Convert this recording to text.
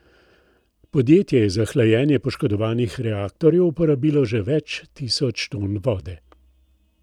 Podjetje je za hlajenje poškodovanih reaktorjev uporabilo že več tisoč ton vode.